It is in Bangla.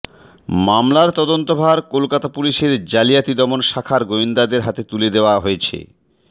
মামলার তদন্তভার কলকাতা পুলিসের জালিয়াতি দমন শাখার গোয়েন্দাদের হাতে তুলে দেওয়া হয়েছে